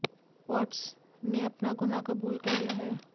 watts ने अपना ग़ुनाह कबूल भी कर लिया